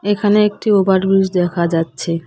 এখানে একটি over bridge দেখা যাচ্ছে।